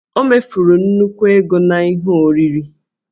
O mefuru nnukwu ego na ihe nri